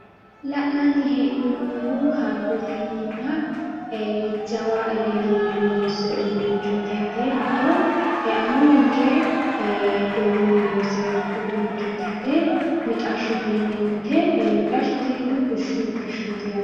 La'nanni hee'noommohu hayyootenninna jawa egennonni loonsoy uduunnichooti yaate, hatto amuwinke dorunni loosewo uduunnichooti yaate mixashshote yineemmote, mixashsho tinino bushshu mixashshooti yaate.